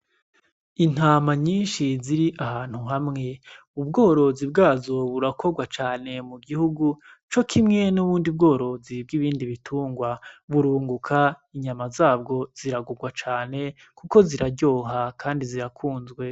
Intama nyinshi ziri ahantu hamwe, ubworozi bwazo burakorwa cane mu gihugu co kwimwe n'ubundi bworozi bw'ibindi bitungwa. Burunguka inyama zabwo ziragugwa cane kuko ziraryoha kandi zirakunzwe.